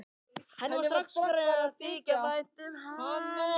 Henni var strax farið að þykja vænt um hann.